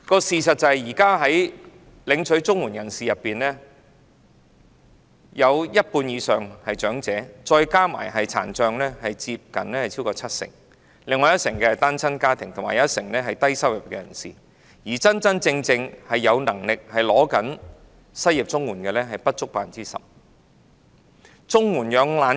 事實上，在現時領取綜援的人士當中，一半以上是長者，再加上殘障人士，佔總數超過七成；另外一成是單親家庭，一成是低收入人士，而真真正正有能力但領取失業綜援的人士僅佔不足 10%。